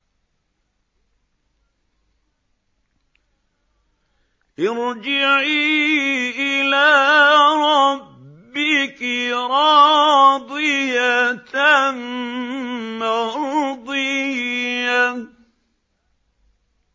ارْجِعِي إِلَىٰ رَبِّكِ رَاضِيَةً مَّرْضِيَّةً